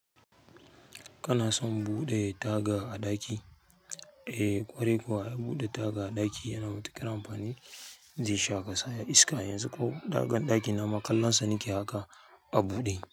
Kana son buɗe taga a ɗaki? Eh, kwarai kuwa, buɗe taga a ɗaki yana matuƙar amfani, zai sa kasha iska yanzu ko tagar ɗakin nama kallon sa nake haka a buɗe.